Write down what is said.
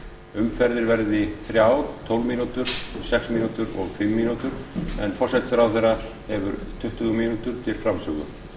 umferðir verði þrjár tólf mínútur sex mínútur og fimm mínútur en forsætisráðherra hefur tuttugu mínútur til framsögu